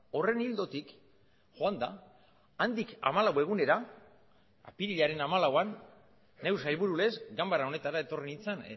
horren ildotik joan da handik hamalau egunera apirilaren hamalauan neu sailburulez ganbara honetara etorri nintzan